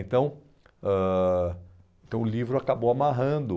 Então, ãh então o livro acabou amarrando